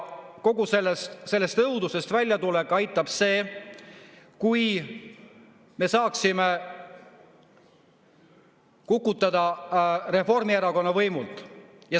Kogu sellest õudusest väljatulekuks aitaks see, kui me saaksime kukutada Reformierakonna võimult.